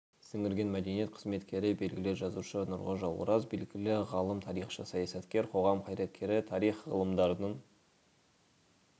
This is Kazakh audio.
сіңірген мәдениет қызметкері белгілі жазушы нұрғожа ораз белгілі ғалым тарихшы саясаткер қоғам қайраткері тарих ғылымдарының